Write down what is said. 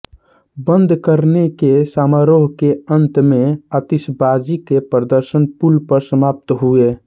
बंद करने के समारोह के अंत में आतिशबाजी के प्रदर्शन पुल पर समाप्त हुए